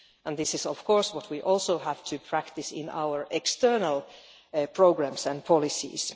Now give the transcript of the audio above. This is of course what we also have to practise in our external programmes and policies.